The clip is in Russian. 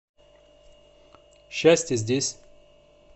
счастье здесь